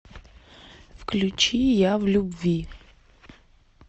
включи я в любви